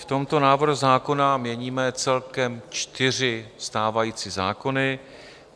V tomto návrhu zákona měníme celkem čtyři stávající zákony.